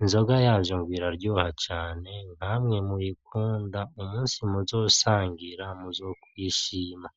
inzoga yavyo iraryoha cane, namwe mubikunda umusi muzosangira muzokwishima.